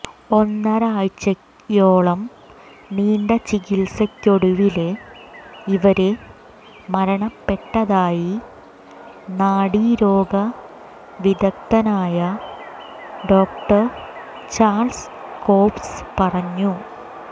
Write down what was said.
ഒന്നരയാഴ്ചയോളം നീണ്ട ചികിത്സയ്ക്കൊടുവില് ഇവര് മരണപ്പെട്ടതായി നാഡിരോഗ വിദഗ്ധനായ ഡോ ചാള്സ് കോബ്സ് പറഞ്ഞു